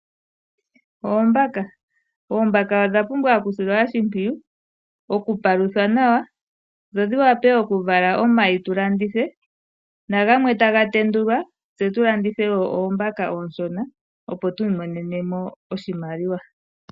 Oombaka, oombaka odha pumbwa okusilwa oshimpwiyu, okupaluthwa nawa dho dhi wape okuvala omayi tu landithe, gamwe taga tendulwa tse tu landithe wo oombaka oonshona opo tu imonene mo oshimaliwa.